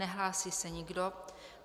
Nehlásí se nikdo.